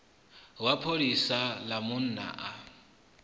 wa pholisa ḽa munna a